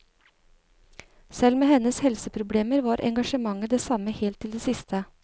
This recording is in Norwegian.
Selv med hennes helseproblemer var engasjementet det samme helt til det siste.